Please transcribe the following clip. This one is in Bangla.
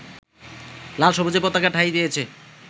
লাল-সবুজের পতাকা ঠাঁই পেয়েছে